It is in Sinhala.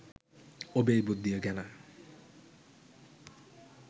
ඔබේ බුද්ධිය ගැන